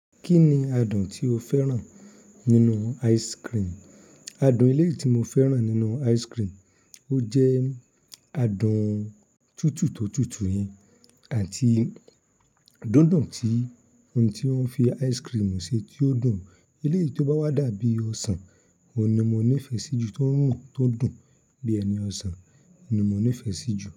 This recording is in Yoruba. Kí ni adùn tí o fẹ́ràn nínú ice cream? Adùn elé yè ti mo fẹ́ràn nínú ice cream, ó jẹ́ adùn tútù tó tútù yen àti dídùn tí ohun tí wọ́n fi ice cream ṣe tí ó dùn. Eléèti bá wá dàbí ọsàn, òun ni mo nífẹ̀ẹ́ sí jù, tó rùn, tó dùn bí omi ọsàn ni mo nífẹ̀ẹ́ sí jù.